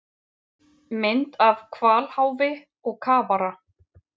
Mynd af hvalháfi og kafara.